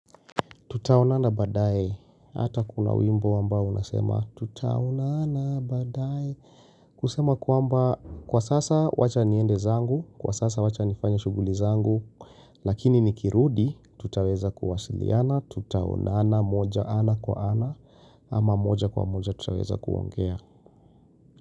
Tutaonana baadaye, hata kuna wimbo ambao unasema tutaonana baadaye kusema kwamba kwa sasa wacha niende zangu, kwa sasa wacha nifanye shughuli zangu lakini nikirudi, tutaweza kuwasiliana, tutaonana ana kwa ana, ama moja kwa moja tutaweza kuongea.